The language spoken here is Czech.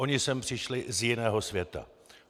Oni sem přišli z jiného světa.